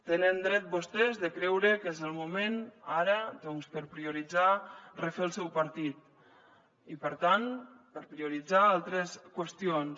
tenen dret vostès de creure que és el moment ara doncs per prioritzar refer el seu partit i per tant per prioritzar altres qüestions